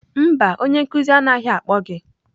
Mba onye nkuzi anaghị akpọ gị.